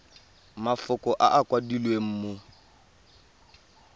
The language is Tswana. mafoko a a kwadilweng mo